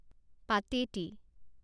পাতেটি